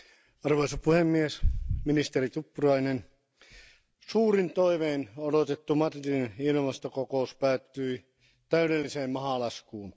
Arvoisa puhemies, ministeri Tuppurainen, suurin toivein odotettu Madridin ilmastokokous päättyi täydelliseen mahalaskuun.